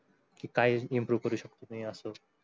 काय improve करू शकतो अस